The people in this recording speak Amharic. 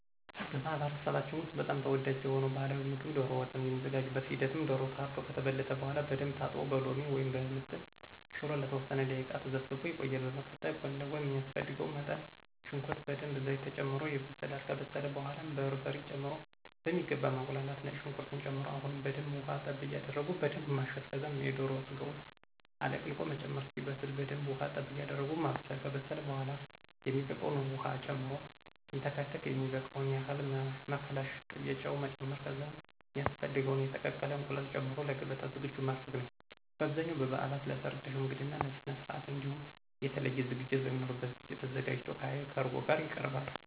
በማህበረሰባችን ውስጥ በጣም ተወዳጅ የሆነው ባህላዊ ምግብ ዶሮ ወጥ ነው። የሚዘጋጅበት ሂደትም ዶሮው ታርዶ ከተበለተ በኃላ በደንብ ታጥቦ በሎሚ ወይም በምጥን ሽሮ ለተወሰነ ደቂቃ ተዘፍዝፎ ይቆያል፤ በመቀጠል ጎን ለጎን ሚያስፈልገው መጠን ሽንኩርት በደንብ ዘይት ተጨምሮ ይበስላል፤ ከበሰለ በኃላ በርበሬ ጨምሮ በሚገባ ማቁላላት፤ ነጭ ሽንኩርት ጨምሮ አሁንም በደንብ ውሀ ጠብ ያደረጉ በደንብ ማሸት ከዛም የዶሮ ስጋውን አለቅልቆ መጨመር፣ እስኪበስ በደንብ ውሃ ጠብ ያደረጉ ማብሰል፤ ከበሰለ በኃላ የሚበቃውን ዉሃ ጨምሮ ሲንተከተክ የሚበቃውን ያህል መከለሻ፣ ቅቤና ጨው መጨመር ከዛም ሚያስፈልገውን የተቀቀለ እንቁላል ጨምሮ ለገበታ ዝግጁ ማድረግ ነዉ። በአብዛኛው በበዓላት፣ ለሠርግ፣ ለሽምግልና ስነስርዓት እንዲሁም የተለየ ዝግጅት በሚኖርበት ጊዜ ተዘጋጅቶ ከዐይብ(ከእርጎ) ጋር ይቀርባል።